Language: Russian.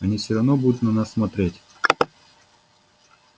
они всё равно будут на нас смотреть